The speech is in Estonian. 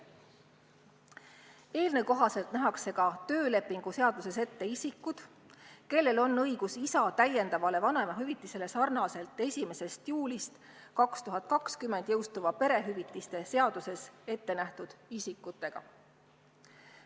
Eelnõu kohaselt nähakse ka töölepingu seaduses ette isikud, kellel on õigus isa täiendavale vanemahüvitisele sarnaselt 1. juulil 2020 jõustuvas perehüvitiste seaduses ette nähtud isikutega.